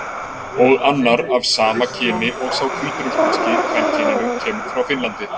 Og annar, af sama kyni og sá hvítrússneski, kvenkyninu, kemur frá Finnlandi.